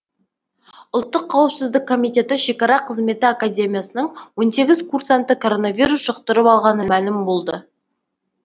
ұлттық қауіпсіздік комитеті шекара қызметі академиясының он сегіз курсанты коронавирус жұқтырып алғаны мәлім болды